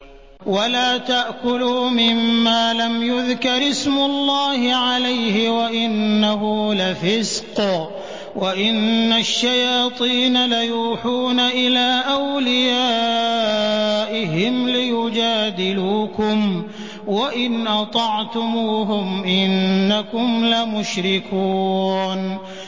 وَلَا تَأْكُلُوا مِمَّا لَمْ يُذْكَرِ اسْمُ اللَّهِ عَلَيْهِ وَإِنَّهُ لَفِسْقٌ ۗ وَإِنَّ الشَّيَاطِينَ لَيُوحُونَ إِلَىٰ أَوْلِيَائِهِمْ لِيُجَادِلُوكُمْ ۖ وَإِنْ أَطَعْتُمُوهُمْ إِنَّكُمْ لَمُشْرِكُونَ